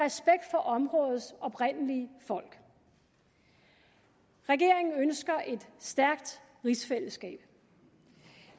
for områdets oprindelige folk regeringen ønsker et stærkt rigsfællesskab